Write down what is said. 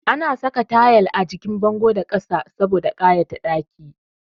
Ana saka tayal a jikin bango da ƙasa saboda ƙayata ɗakin